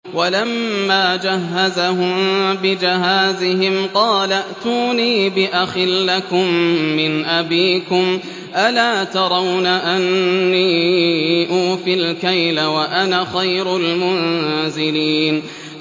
وَلَمَّا جَهَّزَهُم بِجَهَازِهِمْ قَالَ ائْتُونِي بِأَخٍ لَّكُم مِّنْ أَبِيكُمْ ۚ أَلَا تَرَوْنَ أَنِّي أُوفِي الْكَيْلَ وَأَنَا خَيْرُ الْمُنزِلِينَ